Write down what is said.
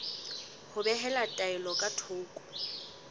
ho behela taelo ka thoko